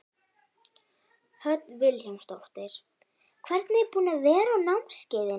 Hödd Vilhjálmsdóttir: Hvernig er búið að vera á námskeiðinu?